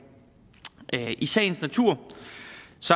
i sagens natur